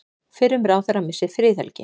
Fyrrum ráðherra missir friðhelgi